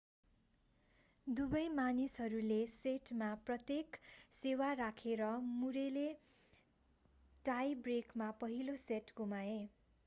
दुवै मानिसहरूले सेटमा प्रत्येक सेवा राखेर मुरेले टाई ब्रेकमा पहिलो सेट गुमाए